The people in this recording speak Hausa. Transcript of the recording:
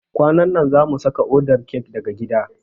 Kwanan na zamu saka odar kek daga gida.